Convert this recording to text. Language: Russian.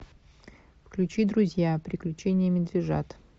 включи друзья приключения медвежат